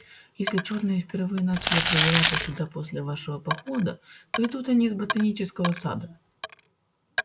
если чёрные впервые начали пробираться сюда после вашего похода то идут они с ботанического сада